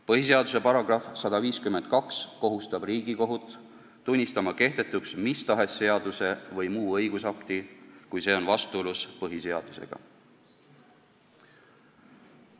Põhiseaduse § 152 kohustab Riigikohut tunnistama kehtetuks mis tahes seaduse või muu õigusakti, kui see on vastuolus põhiseadusega.